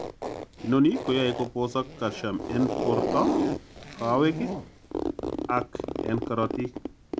inoni koyoe koposok cacium en port al kowek ak en korotik.